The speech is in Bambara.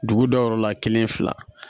Dugu dayɔrɔ la kelen fila